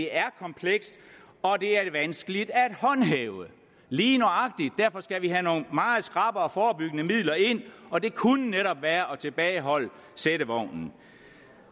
er komplekst og at det er vanskeligt at håndhæve lige nøjagtig derfor skal vi have nogle meget skrappere forebyggende midler ind og det kunne netop være at tilbageholde sættevognen